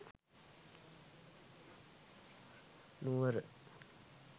nuwara